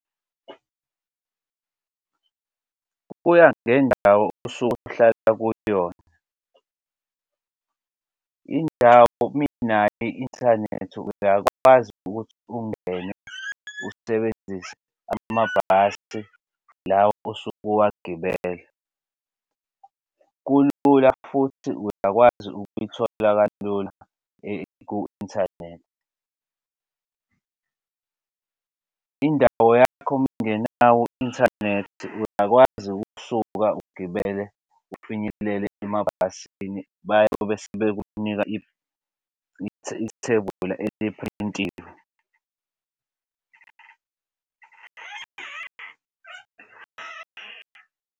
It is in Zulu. Kuya ngendawo osuke usuhlala kuyona indawo uma inayo i-inthanethi uyakwazi ukuthi ungene usebenzise amabhasi lawa osuke uwagibela. Kulula futhi uyakwazi ukuyithola kalula ku-inthanethi. Indawo yakho uma ingenawo u-inthanethi uyakwazi ukusuka ugibele ufinyelele emabhasini bayobe sebekunika ithebula eliphrintiwe.